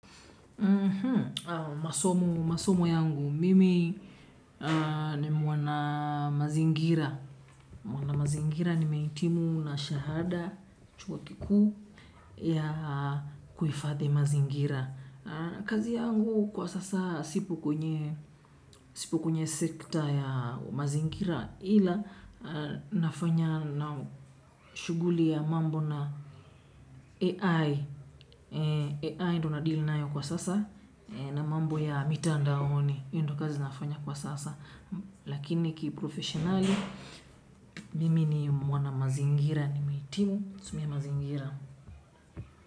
Masomo yangu mimi ni mwana mazingira. Mwana mazingira nimehitimu na shahada chuo kikuu ya kuifadhi mazingira. Kazi yangu kwa sasa sipo kwenye sekta ya mazingira. Ila nafanya na shuguli ya mambo na AI AI ndo nadilinayo kwa sasa. Na mambo ya mitandaoni hiyo ndio kazi nafanya kwa sasa. Lakini ki profesionali Mimi ni mwana mazingira ni mehitimi kusomea mazingira.